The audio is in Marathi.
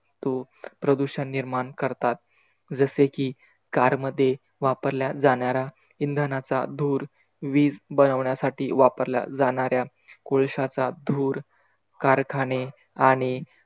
तू प्रदूषण निर्माण करतात. जसे कि, car मध्ये वापरल्या जाणाऱ्या इंधनाचा धूर वीज बनवण्यासाठी वापरल्या जाणाऱ्या कोळशाचा धूर, कारखाने आणि